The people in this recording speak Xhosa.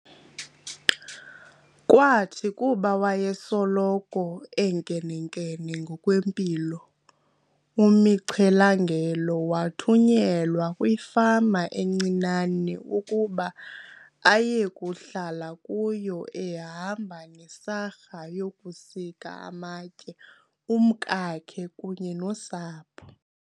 Kwathi kuba wayesoloko enkenenkene ngokwempilo, uMichelangelo wathunyelwa kwifama encinane ukuba ayekuhlala kuyo ehamba nesarha yokusika amatye, umkakhe kunye nosapho.